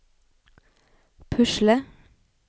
pusle